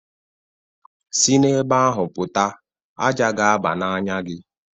Si n'ebe ahụ pụta ájá ga-aba n'anya gị